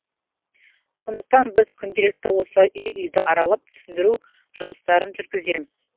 сондықтан біз күнделікті осылай үй үйді аралап түсіндіру жұмыстарын жүргіземіз